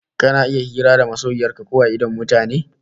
Kana iya hira da masoyiyar ka a idon mutane?